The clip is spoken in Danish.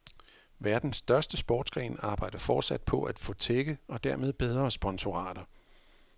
Verdens største sportsgren arbejder fortsat på at få tække og dermed bedre sponsorater.